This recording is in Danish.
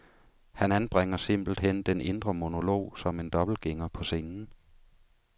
Han anbringer simpelt hen den indre monolog som en dobbeltgænger på scenen.